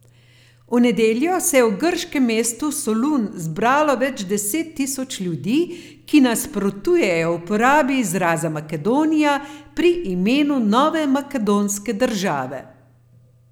V nedeljo se je v grškem mestu Solun zbralo več deset tisoč ljudi, ki nasprotujejo uporabi izraza Makedonija pri imenu nove makedonske države.